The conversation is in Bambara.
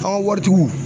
An ka waritigiw